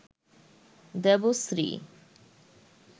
Debashree